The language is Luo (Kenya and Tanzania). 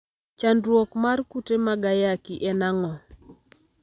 Chandruok mar kute mag ayaki en ang'o?